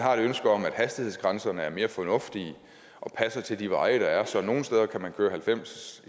har et ønske om at hastighedsgrænserne er mere fornuftige og passer til de veje der er så man nogle steder kan køre halvfems